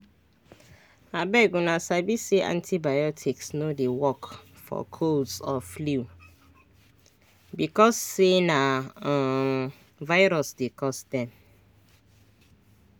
abeguna sabi say antibiotics no dey work for colds or flu because say na um virus dey cause dem